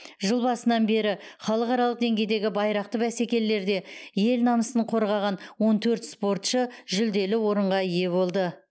жыл басынан бері халықаралық деңгейдегі байрақты бәсекелерде ел намысын қорғаған он төрт спортшы жүлделі орынға ие болды